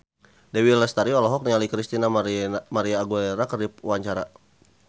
Dewi Lestari olohok ningali Christina María Aguilera keur diwawancara